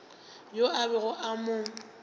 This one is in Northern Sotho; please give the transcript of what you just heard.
yoo a bego a mo